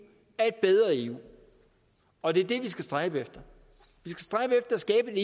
er et bedre eu og det er det vi skal stræbe efter vi skal